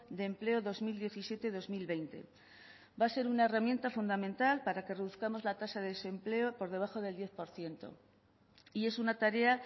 de empleo dos mil diecisiete dos mil veinte va a ser una herramienta fundamental para que reduzcamos la tasa de desempleo por debajo del diez por ciento y es una tarea